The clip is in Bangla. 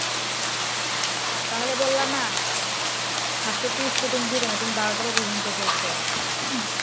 তাহলে বললাহ না? স্বাস্থ্য তুমি বারো টার দিকে ঘুম থেকে উঠো।